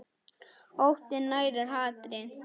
Óttinn nærir hatrið.